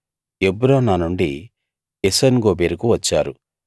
Ebronah నుండి ఎసోన్గెబెరుకు వచ్చారు